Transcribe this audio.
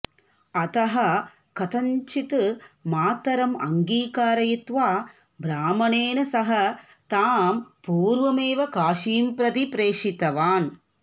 अतः कथञ्चित् मातरम् अङ्गीकारयित्वा ब्राह्मणेन सह तां पूर्वमेव काशीं प्रति प्रेषितवान्